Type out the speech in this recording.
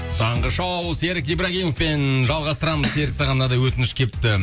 таңғы шоу серік ибрагимовпен жалғастырамыз серік саған мынандай өтініш келіпті